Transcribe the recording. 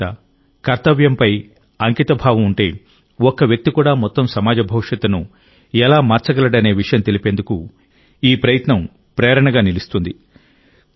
ససహృదయత కర్తవ్యంపై అంకితభావం ఉంటే ఒక్క వ్యక్తి కూడా మొత్తం సమాజ భవిష్యత్తును ఎలా మార్చగలడనే విషయం తెలిపేందుకు ఈ ప్రయత్నం ప్రేరణగా నిలుస్తుంది